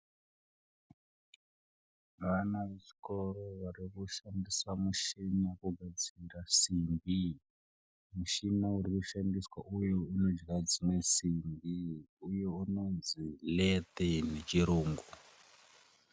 Ana vechikora varikushandisa muchini kugadzira simbi. Muchina urikushandiswa uyu unogadzira dzimwe simbi uye unonzi lathe nechirungu.